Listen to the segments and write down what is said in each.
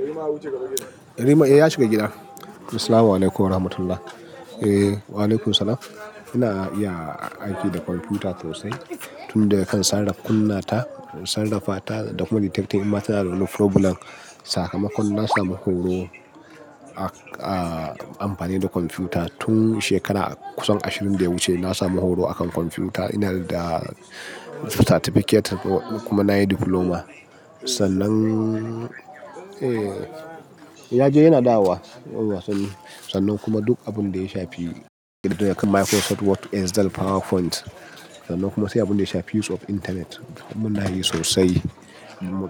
Yarima ya wuce gaba gida. Yarima, eh, ya shiga gida. Assalamualaikum warahmatullah. Eh, waalaikumussalam. Ina iya aiki da kwamfuta sosai, tun daga kan sarrafa kunnata, sarrafa ta da kuma detectin in ma ta na da wani problem. Sakamakon, na samu horo a, a amfani da kwamfuta tun shekara kusan ashirin da ya wuce. Na samu horo a kan kwamfuta. Ina da certificate kuma na yi diploma. Sannan, eh, ya je yana dawowa. Sannan kuma duk abin da ya shafi Microsoft Word, Excel, PowerPoint. Sannan kuma sai abin da ya shafi use of internet. Mun na yi sosai,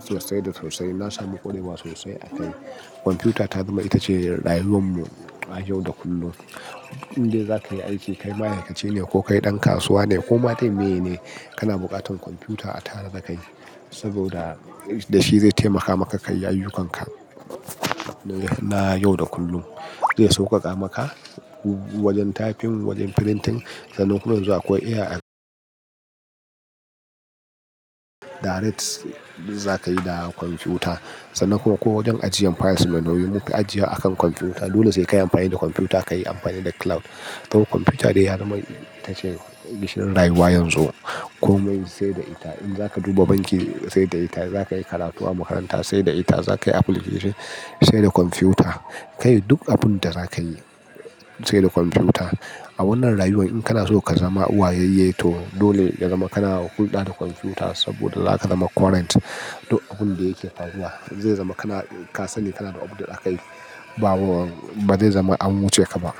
sosai da sosai. Na samu ƙwarewa sosai a kai. Kwamfuta ta zama ita ce rayuwar mu a yau da kullum. In dai za ka yi aiki, kai ma'aikace ne ko kai ɗan kasuwa ne ko ma to meye ne, kana buƙatar kwamfuta a tara da kai saboda da shi zai taimaka maka ka yi ayyukanka na yau da kullum. Zai sauƙaƙa maka wajen tafin, wajen printing. Sannan kuma yanzu akwai AI direct za ka yi da kwamfuta. Sannan kuma ko wajen ajiyan files, mun dauyi ajiya a kan kwamfuta. Dole sai ka yi amfani da kwamfuta, ka yi amfani da cloud. To kwamfuta dai har ma ita ce gishirin rayuwa yanzu. Komai sai da ita. In za ka duba banki sai da ita, za ka yi karatu a makaranta sai da ita, za ka yi application sai da kwamfuta. Ka yi duk abun da za ka yi sai da kwamfuta. A wannan rayuwar in kana so ka zama uwayayye to dole ya zama kana hulɗa da kwamfuta saboda za ka zama current duk abin da yake faruwa. Zai zama kana, ka sani kana da update akayi, ba, ba zai zama an wuce ka ba.